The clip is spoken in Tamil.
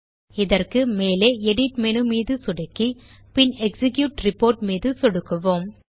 இதற்கு மேலே எடிட் மேனு மீது சொடுக்கி பின் எக்ஸிக்யூட் ரிப்போர்ட் மீதும் சொடுக்குவோம்